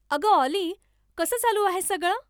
अगं ऑली, कसं चालू आहे सगळं?